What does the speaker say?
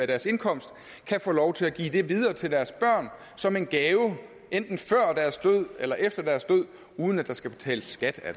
deres indkomst kan få lov til at give det videre til deres børn som en gave enten før deres død eller efter deres død uden at der skal betales skat af